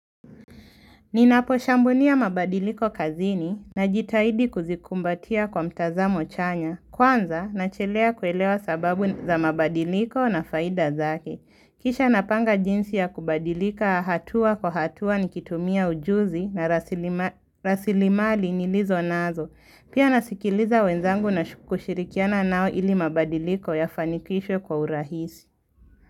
Ninaposhambunia mabadiliko kazini najitaidi kuzikumbatia kwa mtazamo chanya. Kwanza nachelea kuelewa sababu za mabadiliko na faida zake. Kisha napanga jinsi ya kubadilika hatua kwa hatua nikitumia ujuzi na rasilimali nilizo nazo. Pia nasikiliza wenzangu na kushirikiana nao ili mabadiliko yafanikishwe kwa urahisi.